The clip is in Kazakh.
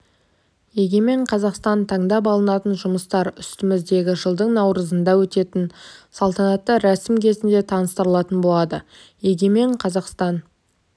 егемен қазақстан таңдап алынатын жұмыстар үстіміздегі жылдың наурызында өтетін салтанатты рәсім кезінде таныстырылатын болады егемен қазақстан